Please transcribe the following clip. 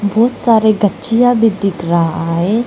बहोत सारे गछिया भी दिख रहा है।